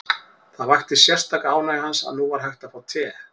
Það vakti sérstaka ánægju hans að nú var hægt að fá te.